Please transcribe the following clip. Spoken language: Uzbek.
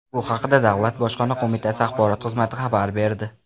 Bu haqda Davlat bojxona qo‘mitasi Axborot xizmati xabar berdi.